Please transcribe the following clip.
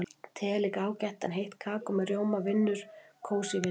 Te er líka ágætt en heitt kakó með rjóma vinnur kósí-vinninginn.